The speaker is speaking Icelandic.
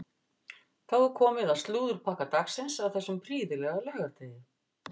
Þá er komið að slúðurpakka dagsins á þessum prýðilega laugardegi.